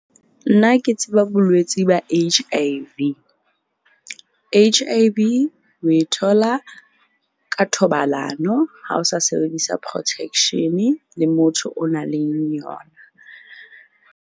Nna ke tseba bolwetsi ba H_I_V. H_I_V o e thola ka thobalano ha o sa sebedisa protection-e le motho o na leng yona.